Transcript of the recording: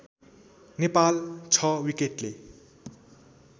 Nepal ६ विकेटले